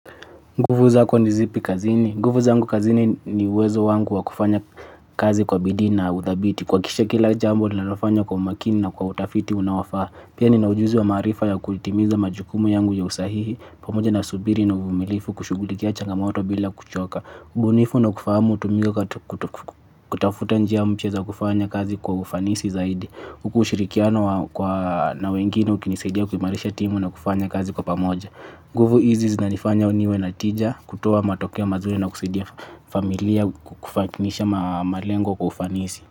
Nguvu zako ni zipi kazini? Nguvu zangu kazini ni uwezo wangu wa kufanya kazi kwa bidii na uthabiti. Kuhakikisha kila jambo nilalofanya kwa makini na kwa utafiti unaofaa. Pia nina ujuzi na maarifa ya kutimiza majukumu yangu ya usahihi. Pamoja na subiri na uvumilivu kushughulikia changamoto bila kuchoka. Ubunifu na kufahamu hutumika kutafuta njia mpya za kufanya kazi kwa ufanisi zaidi huku ushirikiano na wengine ukinisidia kuimarisha timu na kufanya kazi kwa pamoja nguvu izi zinanifanya niwe na tija kutoa matokeo mazuri na kusaidia familia kufakinisha malengo kwa ufanisi.